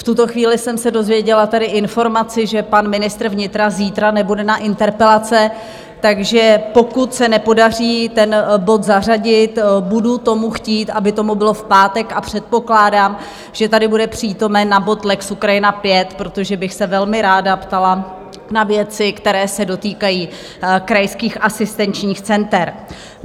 V tuto chvíli jsem se dozvěděla tady informaci, že pan ministr vnitra zítra nebude na interpelace, takže pokud se nepodaří ten bod zařadit, budu tomu chtít, aby tak bylo v pátek, a předpokládám, že tady bude přítomen na bod lex Ukrajina V, protože bych se velmi ráda ptala na věci, které se dotýkají krajských asistenčních center.